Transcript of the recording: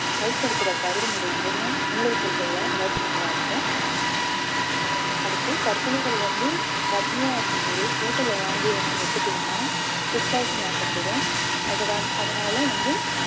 வயிற்றுல இருக்கிற கருவினுடைய இதயம் மூளை செல்கள்ல வளர்ச்சி நல்லா இருக்கும் அடுத்து கர்ப்பிணிகள் வந்து கர்ப்பிணியா இருக்கும்போது hotel ல வாங்கிய உணவு ஒத்துக்கலைன்னா food poison ஆகக்கூடும் அது~ வந்~ அதனால வந்து